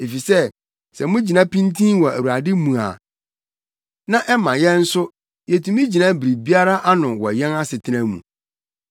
efisɛ sɛ mugyina pintinn wɔ Awurade mu a, na ɛma yɛn nso yetumi gyina biribiara ano wɔ yɛn asetena mu.